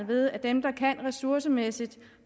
ved at dem der kan ressourcemæssigt